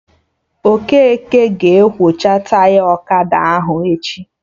Okeke ga-ekwocha Taya ọkada ahụ echi